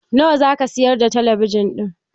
Nawa za ka sayar da talabijin ɗin?